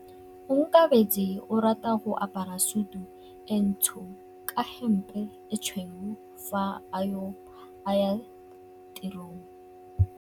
Onkabetse o rata go apara sutu e ntsho ka hempe e tshweu fa a ya tirong.